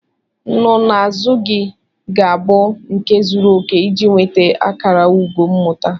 Nsonaazụ gị ga-abụ nke zuru oke iji nweta akara ugo mmụta.